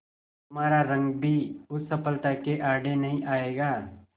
तुम्हारा रंग भी उस सफलता के आड़े नहीं आएगा